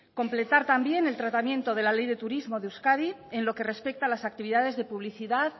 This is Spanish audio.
completar también el tratamiento de la ley de turismo de euskadi en lo que respecta a las actividades de publicidad